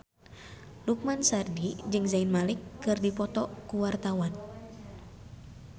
Lukman Sardi jeung Zayn Malik keur dipoto ku wartawan